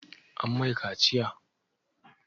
An mai kaciya?